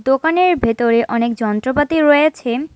দোকানের ভেতরে অনেক যন্ত্রপাতি রয়েছে।